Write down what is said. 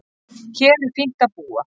Hér er fínt að búa.